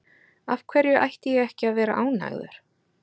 Af hverju ætti ég ekki að vera ánægður?